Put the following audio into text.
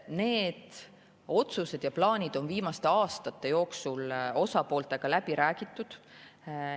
Need otsused ja plaanid on viimaste aastate jooksul osapooltega läbi räägitud.